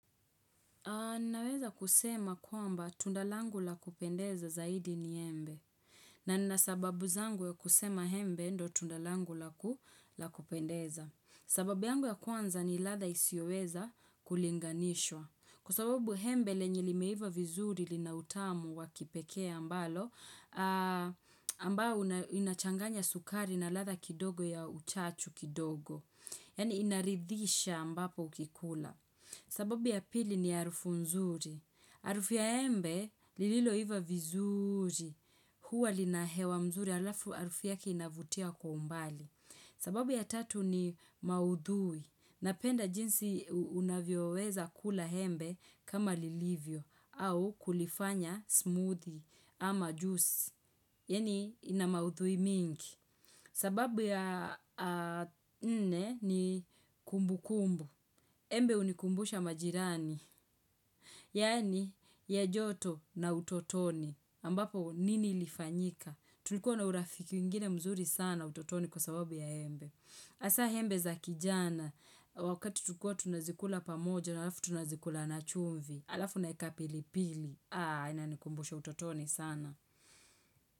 Naweza kusema kwamba tunda langu la kupendeza zaidi ni embe. Na nina sababu zangu ya kusema embe ndo tunda langu lakupendeza. Sababu yangu ya kwanza ni ladha isioweza kulinganishwa. Kwa sababu embe lenye limeiva vizuri lina utamu wakipekee ambalo, ambao inachanganya sukari na ladha kidogo ya uchachu kidogo. Yani inaridhisha ambapo ukikula. Sababu ya pili ni arufu mzuri. Arufu ya embe lililoiva vizuri. Hua lina hewa mzuri alafu arufu yake inavutia kwa umbali. Sababu ya tatu ni maudhui. Napenda jinsi unavyoweza kula embe kama lilivyo au kulifanya smoothie ama juice. Yani ina maudhui mingi. Sababu ya nne ni kumbukumbu. Embe unikumbusha majirani, yani ya joto na utotoni, ambapo nini ilifanyika, tulikuwa na urafiki ingine mzuri sana utotoni kwa sababu ya embe. Hasa embe za kijana, wakati tukua tunazikula pamoja na alafu tunazikula na chumvi, alafu naeka pili pili, inanikumbusha utotoni sana.